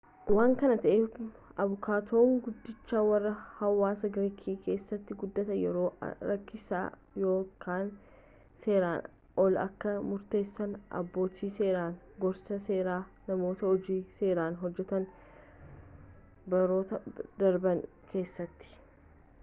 waan kana ta'eef abukaatoon guddichi warra hawaasa giriik keessattin guddate yeroo rakkisaa yakka seeraan alaa kan murteessan abbootii seeraan gorsaa seeraa namoota hojii seeraa hojjetan baroota darban keessatti